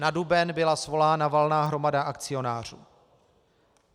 Na duben byla svolána valná hromada akcionářů.